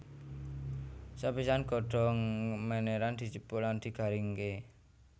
Sepisan godhong meniran dijupuk lan digaringké